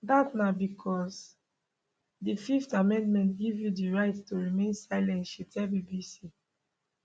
dat na becos di fifth amendment give you di right to remain silent she tell bbc